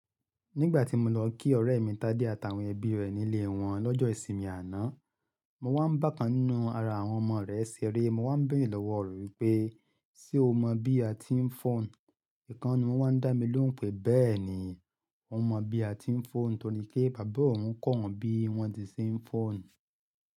Nígbà tí mo lọ kí ọ̀rẹ́ mi Tádé àtàwọn ẹbí rẹ̀ nílé wọn lọ́jọ́ ìsinmi àná, mo wá ń bákan ninú ara àwọn ọmọ rẹ̀ ṣeré. Mo wá ń bẹ̀rẹ̀ lọ́wọ́ rẹ wípé, "Ṣé o mọ bí a ti ń fọ́n?" Ìkan ni wọ́n wà ń dá mi lóhùn pé, "Bẹ́ẹ̀ni, mo mọ bí a ti ń fọ́n." Nítorí pé bàbá òun kọ̀ wọ́n bí wọ́n ti ṣé ń fọ́n.